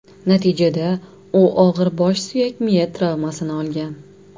Natijada u og‘ir bosh suyak-miya travmasini olgan.